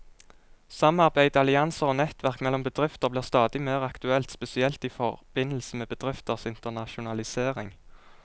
Samarbeid, allianser og nettverk mellom bedrifter blir stadig mer aktuelt, spesielt i forbindelse med bedrifters internasjonalisering.